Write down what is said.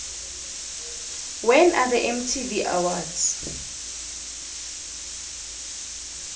when are the mtv awards